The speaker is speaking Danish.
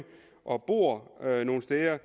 og de bor nogle steder